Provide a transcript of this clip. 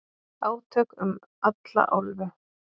Átök um alla álfu